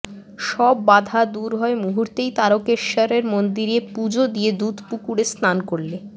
সব বাধা দূর হয় মুহূর্তেই তারকেশ্বরের মন্দিরে পুজো দিয়ে দুধ পুকুরে স্নান করলে